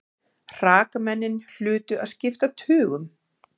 Hrakmennin hlutu að skipta tugum.